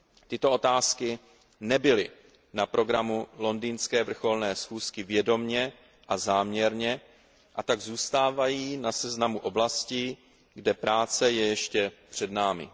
Tyto otázky nebyly na programu londýnské vrcholné schůzky vědomě a záměrně a tak zůstávají na seznamu oblastí, kde práce je ještě před námi.